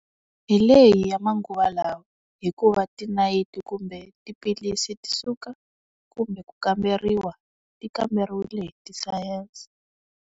Hi leyi ya manguva lawa. Hikuva ti nayiti kumbe tiphilisi ti suka, kumbe ku kamberiwa, ti kamberiwile hi ti sayense.